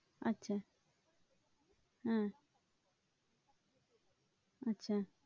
আচ্ছা হ্যাঁ